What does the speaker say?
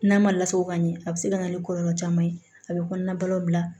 N'a ma lasago ka ɲɛ a be se ka na ni kɔlɔlɔ caman ye a be kɔnɔna bila